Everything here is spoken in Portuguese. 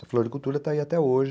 Essa floricultura está aí até hoje.